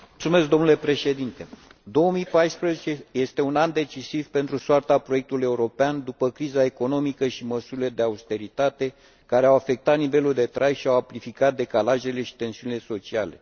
Domnule președinte, 2014 este un an decisiv pentru soarta proiectului european, după criza economică și măsurile de austeritate, care au afectat nivelul de trai și au amplificat decalajele și tensiunile sociale.